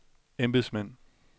embedsmænd